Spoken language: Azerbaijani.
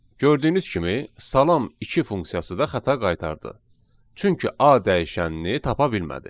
Gördüyünüz kimi, salam iki funksiyası da xəta qaytardı, çünki a dəyişənini tapa bilmədi.